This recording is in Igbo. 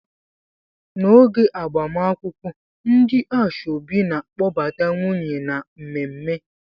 N'oge agbamakwụkwọ ndị asoebi na kpọbata nwunye na mmemme